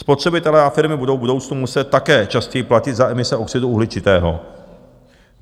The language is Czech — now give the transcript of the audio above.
Spotřebitelé a firmy budou v budoucnu muset také častěji platit za emise oxidu uhličitého.